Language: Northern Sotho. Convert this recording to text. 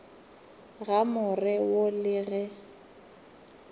ga more wo le ge